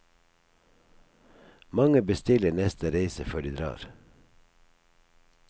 Mange bestiller neste reise før de drar.